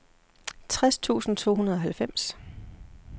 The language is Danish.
tres tusind to hundrede og halvfems